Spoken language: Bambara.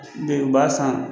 De b'a san